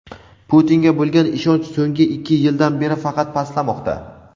Putinga bo‘lgan ishonch so‘nggi ikki yildan beri faqat pastlamoqda.